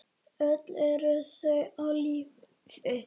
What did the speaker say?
Öll eru þau á lífi.